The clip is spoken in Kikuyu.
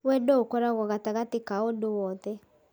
Wendo ũkorwo gatagatĩ ka ũndũ wothe